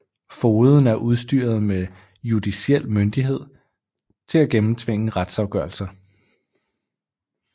Fogeden er udstyret med judiciel myndighed til at gennemtvinge retsafgørelser